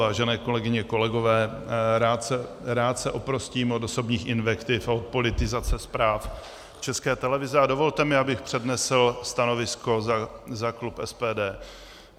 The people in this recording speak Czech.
Vážené kolegyně, kolegové, rád se oprostím od osobních invektiv a od politizace zpráv České televize a dovolte mi, abych přednesl stanovisko za klub SPD.